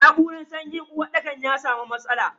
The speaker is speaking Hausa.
Na'uran sanyin uwarɗakar ya samu matsala.